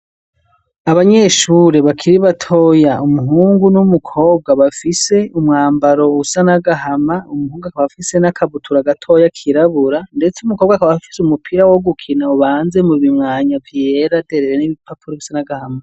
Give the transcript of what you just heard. Abanyeshure bakiri batoya, umuhungu n'umukobwa bafise umwambaro usa n'agahama, umuhungu akaba afise n'akabutura gatoya kirabura, ndetse umukobwa akaba afise umupira wo gukina ubanze mu bimwanya vyera derere n'ibipapuro bisa n'agahama.